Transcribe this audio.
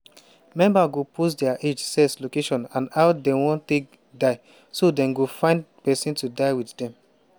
members go post dia age sex location and how dem wan take die so dem go find pesin to die wit dem.